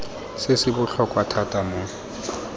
se se botlhokwa thata mo